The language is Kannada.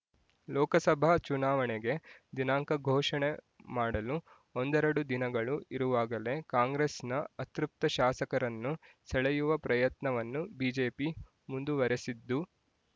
ಲೋಕಸಭಾ ಚುನಾವಣೆಗೆ ದಿನಾಂಕ ಘೋಷಣೆ ಮಾಡಲು ಒಂದೆರಡು ದಿನಗಳು ಇರುವಾಗಲೇ ಕಾಂಗ್ರೆಸ್‌ನ ಅತೃಪ್ತ ಶಾಸಕರನ್ನು ಸೆಳೆಯುವ ಪ್ರಯತ್ನವನ್ನು ಬಿಜೆಪಿ ಮುಂದುವರೆಸಿದ್ದು